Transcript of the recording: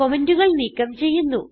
കമന്റുകൾ നീക്കം ചെയ്യുന്നു